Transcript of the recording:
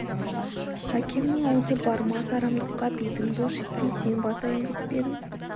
әкеңнің аузы бармас арамдыққа бетің былш етпей сен басайын деп пе едің